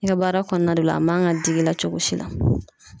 I ka baara kɔnɔna de la a man kan ka digi i la cogo si la.